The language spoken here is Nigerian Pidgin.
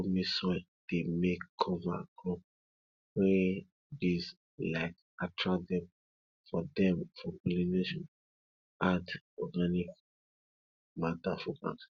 loamy soil dey make cover crop wey bees like attract dem for dem for pollination add organic matter for ground